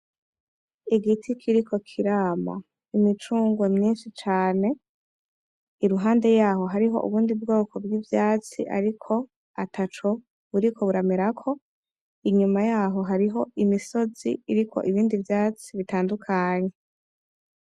Igiti kiriko kirama imicungwe myinshi cane , iruhande yaho hariho ubundi bwoko bw'ivyatsi ariko ataco buriko buramerako , inyuma yaho hariho imisozi iriko ibindi vyatsi bitandukanye.